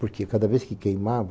Porque cada vez que queimava,